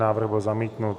Návrh byl zamítnut.